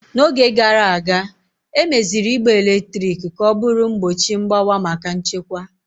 N'oge gara aga, emeziri igbe eletrik ka ọ bụrụ mgbochi mgbawa maka nchekwa.